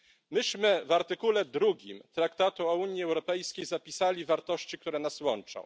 Myśmy w artykule drugim Traktatu o Unii Europejskiej zapisali wartości, które nas łączą.